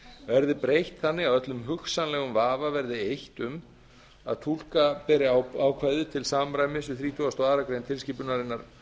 verði breytt þannig að öllum hugsanlegum vafa verði eytt um að túlka beri ákvæðið til samræmis við þrítugustu og aðra grein tilskipunarinnar